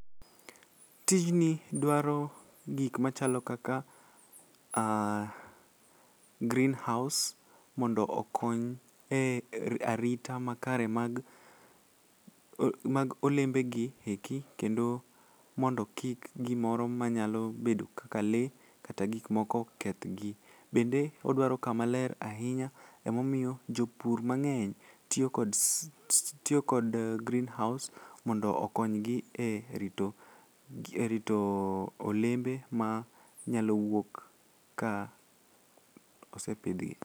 Tijni dwaro gikmachalo kaka ah green house mondo okony e arita makare mag olembegi eki kendo mondo kik gimoro manyalo bedo kaka lee kata gikmoko kethgi. Bende odwaro kamaler ahinya emomiyo jopur mang'eny tiyo kod green housde mondo okonygi e rito olembe manyalo wuok ka osepidhgi.